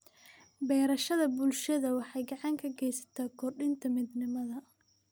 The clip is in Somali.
Beerashada bulshada waxay gacan ka geysataa kordhinta midnimada.